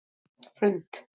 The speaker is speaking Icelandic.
Hrund